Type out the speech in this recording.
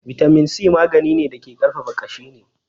Bitamin C magani ne da ke ƙarfafa ƙashi ne